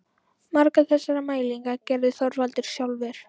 Margar þessara mælinga gerði Þorvaldur sjálfur.